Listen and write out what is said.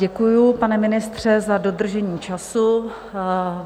Děkuji, pane ministře, za dodržení času.